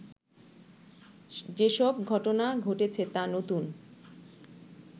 যেসব ঘটনা ঘটেছে তা নতুন